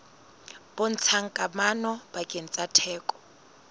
bontshang kamano pakeng tsa theko